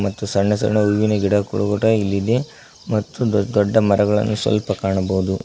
ಮತ್ತು ಸಣ್ಣ ಸಣ್ಣ ಹೂವಿನ ಗಿಡಕೋ ತೋಟ ಇಲ್ಲಿದೆ ಮತ್ತು ದೊಡ್ಡ ಮರಗಳನ್ನು ಸ್ವಲ್ಪ ಕಾಣಬಹುದು.